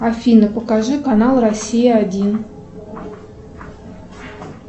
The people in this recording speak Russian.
афина покажи канал россия один